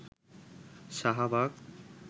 Shahbag